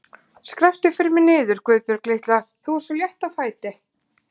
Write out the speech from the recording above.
Skrepptu fyrir mig niður, Guðbjörg litla, þú ert svo létt á fæti.